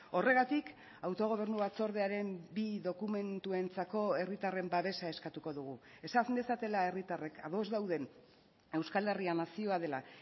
horregatik autogobernu batzordearen bi dokumentuentzako herritarren babesa eskatuko dugu esan dezatela herritarrek ados dauden euskal herria nazioa dela